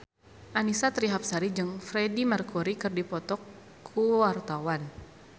Annisa Trihapsari jeung Freedie Mercury keur dipoto ku wartawan